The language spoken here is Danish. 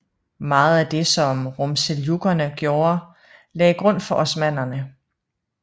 Meget af det som Rumseljukkerne gjorde lagde grund for osmannerne